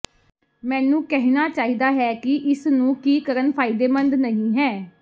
ਮੈਨੂੰ ਕਹਿਣਾ ਚਾਹੀਦਾ ਹੈ ਕਿ ਇਸ ਨੂੰ ਕੀ ਕਰਨ ਫਾਇਦੇਮੰਦ ਨਹੀ ਹੈ